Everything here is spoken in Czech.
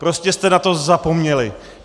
Prostě jste na to zapomněli.